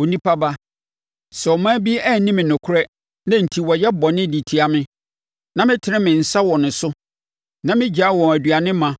“Onipa ba, sɛ ɔman bi anni me nokorɛ na enti wɔyɛ bɔne de tia me, na metene me nsa wɔ wɔn so na megyae wɔn aduane ma,